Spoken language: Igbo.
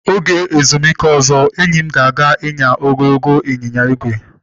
Oge ezumike ozo, enyi m ga aga nyaa ogologo ịnyịnya ígwè.